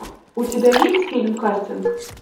у тебя есть фильм кастинг